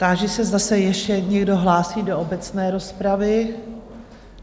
Táži se zase ještě někdo hlásí do obecné rozpravy?